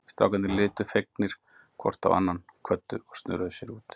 Strákarnir litu fegnir hvor á annan, kvöddu og snöruðu sér út.